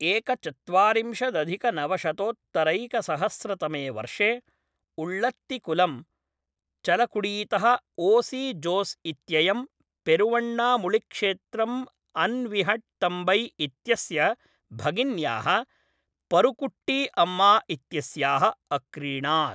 एकचत्वारिंशदधिकनवशतोत्तरैकसहस्रतमे वर्षे, उळ्ळत्तिकुलम्, चलकुडीतः O C Jose इत्ययं पेरुवण्णामुळिक्षेत्रम् अविन्हट्तम्बै इत्यस्य भगिन्याः परुकुट्टीअम्मा इत्यस्याः अक्रीणात्।